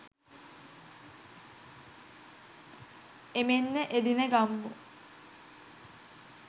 එමෙන්ම එදින ගම්මු